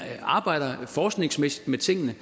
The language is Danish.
arbejder forskningsmæssigt med tingene